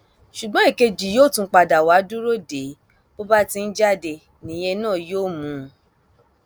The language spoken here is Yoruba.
ṣùgbọn èkejì yóò tún padà wàá dúró dè é bó bá ti ń jáde nìyẹn náà yóò mú un